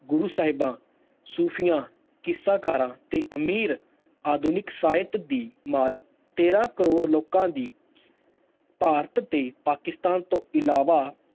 ਗੁਰੂ ਸਾਹਿਬਾਂ, ਸੂਫੀਆਂ, ਕਿੱਸਾਕਾਰਾਂ ਤੇ ਅਮੀਰ ਆਧੁਨਿਕ ਸਾਹਿਤ ਦੀ ਮਾਲਕ ਤੇਰਾਂ ਕਰੌੜ ਲੋਕਾਂ ਦੀ ਭਾਰਤ ਤੇ ਪਾਕਿਸਤਾਨ ਤੋਂ ਇਲਾਵਾ